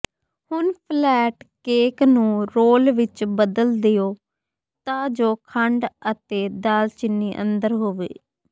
ਹੁਣ flat cake ਨੂੰ roll ਵਿੱਚ ਬਦਲ ਦਿਓ ਤਾਂ ਜੋ ਖੰਡ ਅਤੇ ਦਾਲਚੀਨੀ ਅੰਦਰ ਹੋਵੇ